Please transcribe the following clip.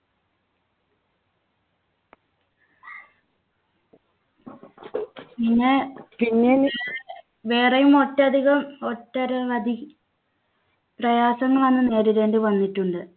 പിന്നെ പിന്നെ വേറെയും ഒട്ടധികം ഒട്ടഅരവധി പ്രയാസങ്ങൾ അന്ന് നേരിടേണ്ടി വന്നിട്ടുണ്ട്.